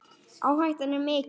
Áhættan er mikil.